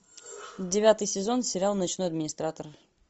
девятый сезон сериал ночной администратор